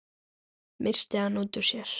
missti hann út úr sér.